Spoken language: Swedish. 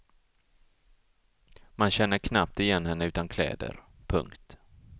Man känner knappt igen henne utan kläder. punkt